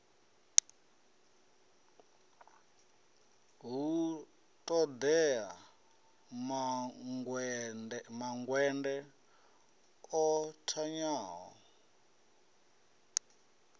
hu ṱoḓea mangwende o thanyaho